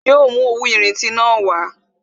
Yo mú òwú irinti na wá